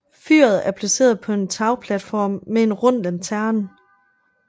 Fyret er placeret på en tagplatform med en rund lanterne